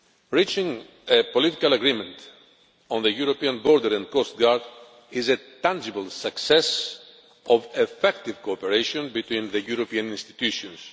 Reaching a political agreement on the European Border and Coast Guard is a tangible success of effective cooperation between the European institutions.